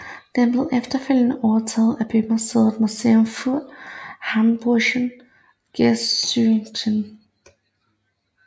Den blev efterfølgende overtaget af bymuseet Museum für Hamburgische Geschichte